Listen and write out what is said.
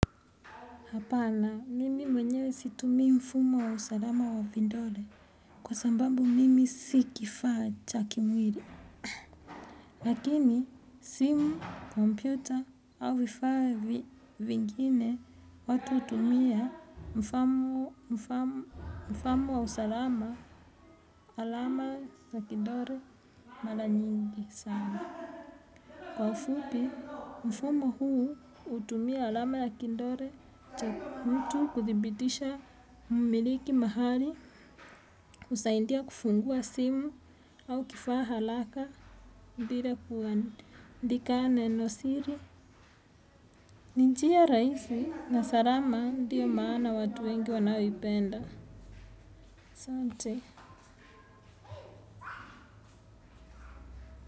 Hapana, mimi mwenyewe situmii mfumo wa usalama wa vidole kwa sababu mimi si kifaa cha kimwili. Lakini, simu, kompyuta au vifaa vingine watu hutumia mfumo wa usalama alama ya kidole mara nyingi sana. Kwa ufupi, mfumo huu hutumia alama ya kidole, cha mtu kuthibitisha mmiliki mahali, kusaidia kufungua simu au kifaa haraka bila kuandika neno siri. Ni njia rahisi na salama ndio maana watu wengi wanaoipenda. Asante.